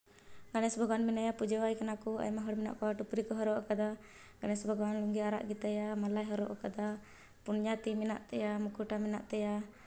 ᱜᱚᱱᱤᱥ ᱵᱷᱚᱜᱣᱟᱱ ᱢᱮᱱᱟᱭᱟ ᱯᱩᱡᱟᱹ ᱣᱟᱭ ᱠᱟᱱᱟ ᱠᱩ᱾ ᱟᱭᱢᱟ ᱦᱚᱲ ᱢᱤᱱᱟᱠ ᱠᱩᱣᱟ ᱛᱭᱯᱨᱤ ᱠᱩ ᱦᱚᱨᱚᱜ ᱟᱠᱟᱫᱟ᱾ ᱜᱚᱱᱤᱥ ᱵᱷᱚᱜᱣᱟᱱ ᱟᱠ ᱞᱩᱸᱜᱤ ᱟᱨᱟᱠ ᱜᱤ ᱛᱟᱭᱟ ᱢᱚᱞᱟ ᱭᱮ ᱦᱚᱨᱚᱜ ᱠᱟᱫᱟ ᱯᱚᱱᱭᱟ ᱛᱤ ᱢᱮᱱᱟᱠ ᱛᱟᱢᱟ ᱢᱩᱠᱷᱚᱴᱟ ᱢᱮᱱᱟᱠ ᱛᱟᱢᱟ᱾